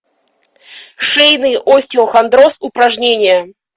шейный остеохондроз упражнения